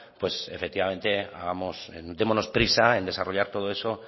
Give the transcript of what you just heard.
pues efectivamente démonos prisa en desarrollar todo eso